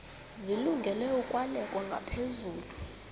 zilungele ukwalekwa ngaphezulu